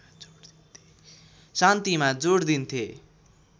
शान्तिमा जोड दिन्थे